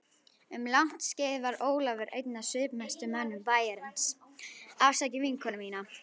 Um langt skeið var Ólafur einn af svipmestu mönnum bæjarins.